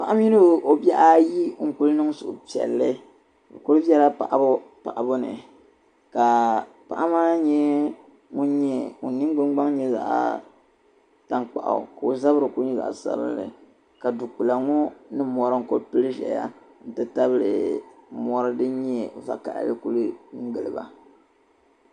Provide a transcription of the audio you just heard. Paɣa mini o bihi ayi n kul' nin suhupiɛlli bi kuli bela paɣibu paɣibu ni ka paɣa maa nye min nyin gbuni gbaŋ nyɛ zaɣ'tankpaɣu ka o zabiri ku ŋyɛ zaɣ' sabinli ka di kpila ŋɔ nii mori n ku pili zaya n ti tabili mori din nyɛ vakahili n ku gili ba